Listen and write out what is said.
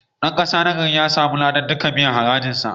Dan kasa nagari ya samu ladan biyan duk harajinsa.